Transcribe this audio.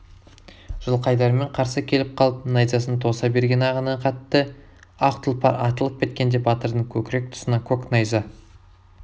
жылқайдармен қарсы келіп қалып найзасын тоса берген ағыны қатты ақ тұлпар атылып кеткенде батырдың көкірек тұсынан көк найза